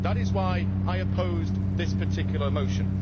That is why I opposed this particular motion.